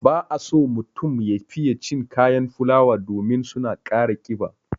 Ba a so mutum ya fiye cin kayan fulawa domin su na ƙara ƙiba.